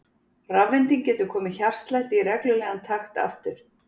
Rafvending getur komið hjartslætti í reglulegan takt aftur.